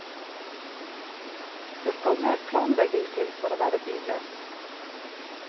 Det skal mer planlegging til for å være billøs.